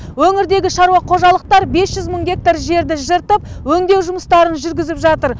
өңірдегі шаруа қожалықтар бес жүз мың гектар жерді жыртып өңдеу жұмыстарын жүргізіп жатыр